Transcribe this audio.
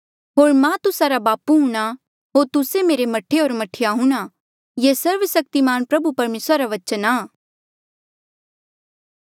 होर मां तुस्सा रा बापू हूंणां होर तुस्सा मेरे मह्ठे होर मह्ठीया हूंणां ये सर्वसक्तिमान प्रभु परमेसरा रा बचना आ